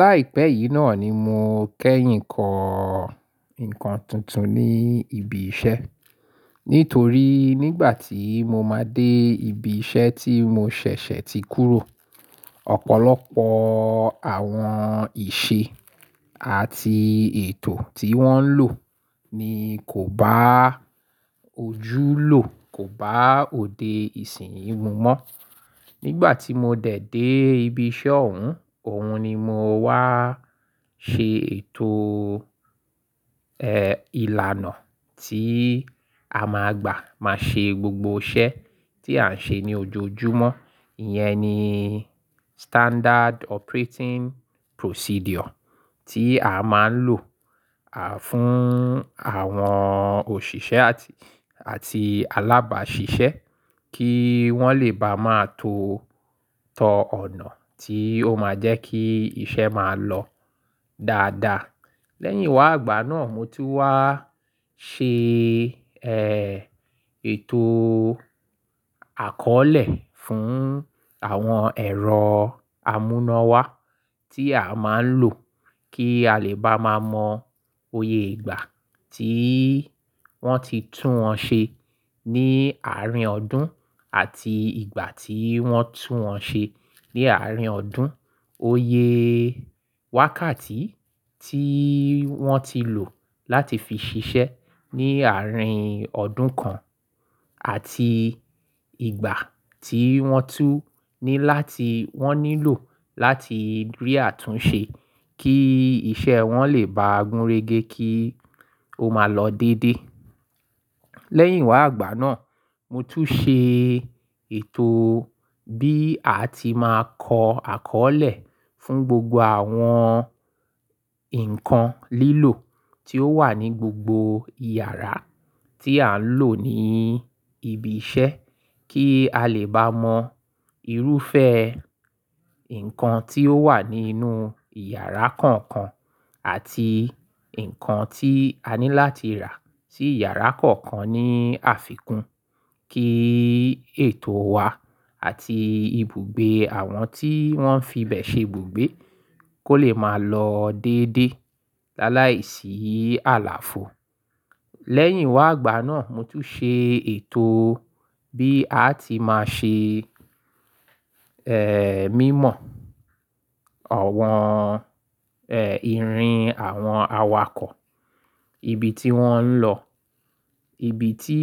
Láìpẹ́ yìí náà ni mo kẹ́yìn ń kọ nǹkan tuntun ní ibi iṣẹ́. Nítorí nígbà tí mo máa dé ibi iṣẹ́ tí mo ṣẹ̀ṣẹ̀ ti kúrò, ọ̀pọ̀lọpọ̀ àwọn ìṣe àti ètò tí wọ́n ń lò ní kò bá ojúlò, kò bá òde ìsìn lo mọ́. Nígbà tí mo dẹ̀ dé ibi iṣẹ́ òun, òun ni mo wá ṣe ètò, ẹ́, ìlànà tí a máa gbà máa ṣe gbogbo iṣẹ́ tí à ń ṣe ní ojoojúmọ́. Ìyẹn ni standard operating procedure tí a máa ń lò, à, fún àwọn òṣìṣẹ́ àti, àti alábàáṣiṣẹ́ kí wọ́n lè bá máa tó tọ ọ̀nà tí ó máa jẹ́ kí iṣẹ́ máa lọ dáadáa. Lẹ́yìn wá'gbà náà mo tún wá ṣe, ẹ́, ètò àkọ́ọ́lẹ̀ fún àwọn ẹ̀rọ àmúnáwá tí a máa ń lò kí a lè bá máa mọ oyè ìgbà tí wọ́n ti tún wọ́n ṣe ní àárín ọdún àti ìgbà tí wọ́n tún wọ́n ṣe ní àárín ọdún, oyè wákàtí tí wọ́n ti lò láti fi ṣiṣẹ́ ní àárín ọdún kan àti ìgbà tí wọ́n tú ni láti wọ́n nílò láti rí àtúnṣe kí iṣẹ́ wọ́n lè bá gúnrégé kí ó máa lọ dédé. Lẹ́yìn wá àgbà náà mo tún ṣe ètò bí a ti máa kọ àkọ́ọ́lẹ̀ fún gbogbo àwọn nǹkan lílò tí ó wà ní gbogbo ìyàrá tí à ń lò ní ibi iṣẹ́ kí a lè bá mọ irúfẹ́ nǹkan tí ó wà nínú ìyàrá kọ̀ọ̀kan àti nǹkan tí a ní láti rà sí ìyàrá kọ̀ọ̀kan ní àfikún kí ètò wa àti ibùgbé àwọn tí wọ́n fi bẹ̀ ṣe ibùgbé kó lè máa lọ dédé láàláìsí àlàfo. Lẹ́yìn wá àgbà náà mo tún ṣe ètò bí a ti máa ṣe, ẹ́, mímọ̀ àwọn, ẹ́, ìrìn àwọn awakọ̀, ibi tí wọ́n ń lọ, ibi tí,